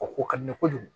O ko ka di ne ye kojugu